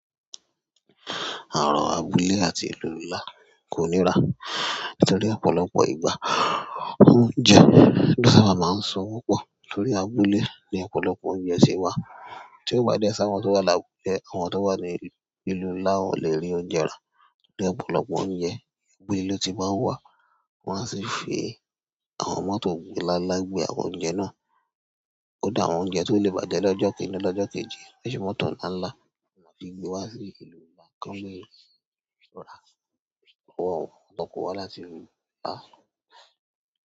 À abúlé àti ìlú ńlá kò nírán nítorí ọ̀pọ̀lọpọ̀ ìgbà, oúnjẹ lo sábà máa ń so wọ́n pọ̀ torí abúlé ní ọ̀pọ̀lọpọ̀ oúnjẹ ti wà. Tí ó bá dẹ si àwọn tó wà lábúlé, àwọn tó wà ní ìlú ńlá, wọn le rí oúnjẹ rá ní ọ̀pọ̀lọpọ̀ oúnjẹ abúlé lo tí maa n wà, wọn a sì fi àwọn mọ́tò nlá ńlá gbe àwọn oúnjẹ náà. Kkdá àwọn oúnjẹ tó lè bájẹ́ lọ́jọ́, lọ́jọ́ kejì, mọ́tò ńlá ńlá máa fi gbé wá sí ìlú ńlá kan lé lọ ra lọwọ awọ́n tan kowa wá láti ìlú ńlá.